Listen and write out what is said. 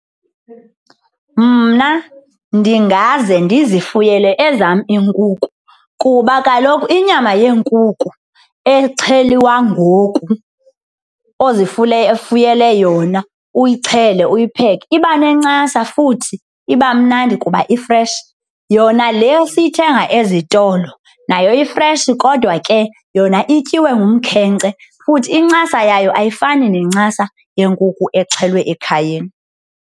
Mna ndingaze ndizifuyile ezam iinkukhu kuba kaloku inyama yeenkukhu exhelwa ngoku ozifuyele yona uyixhele uyipheke iba nencasa futhi iba mnandi kuba i-fresh. Yona leyo siyithenga ezitolo nayo i-fresh kodwa ke yona ityiwe kumkhenkce, futhi incasa yayo ayifani nencasa yenkuku exhelwe ekhayeni.